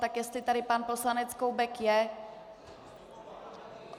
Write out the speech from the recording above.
Tak jestli tady pan poslanec Koubek je?